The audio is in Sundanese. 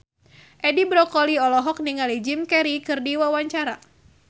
Edi Brokoli olohok ningali Jim Carey keur diwawancara